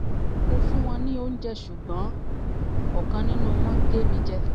mo ń fún wọn ní oúnjẹ ṣùgbọ́n ọ̀kan nínú wọn gé mi jẹ